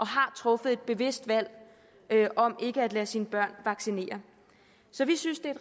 har truffet et bevidst valg om ikke at lade sine børn vaccinere så vi synes det